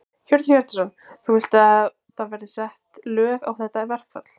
Hjörtur Hjartarson: Þú vilt að það verði sett lög á þetta verkfall?